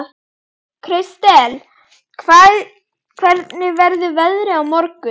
Kristel, hvernig verður veðrið á morgun?